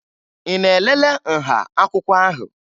Ị na-elele nha akwụkwọ ahụ?